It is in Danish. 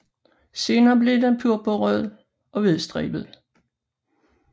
Senere bliver den purpurrød og hvidstribet